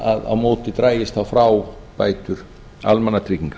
að á móti dragist þá frá bætur almannatrygginga